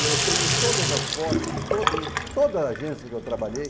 Eu tenho todas as fotos de todas todas as agência que eu trabalhei.